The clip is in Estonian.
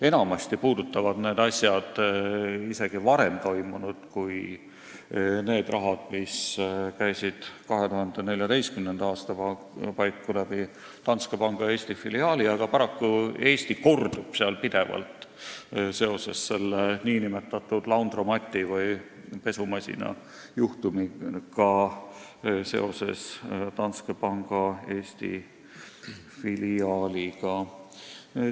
Enamjaolt puudutavad need asjad isegi varem toimunut, mitte ainult seda raha, mis käis 2014. aasta paiku läbi Danske Banki Eesti filiaali, aga paraku Eesti kordub seal pidevalt seoses nn laundromat'i või pesumasina juhtumiga ja seoses Danske Bankiga Eesti filiaaliga.